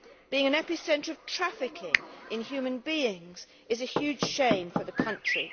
Being an epicentre of trafficking in human beings is a huge shame for the country.